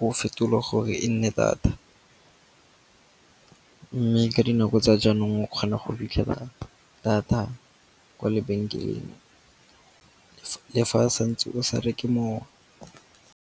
o fetole gore e nne data. Mme ka dinako tsa jaanong o kgona go fitlhela data kwa lebenkeleng le fa santse o sa re ke moo.